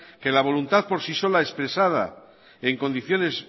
que la voluntad por sí sola expresada en condiciones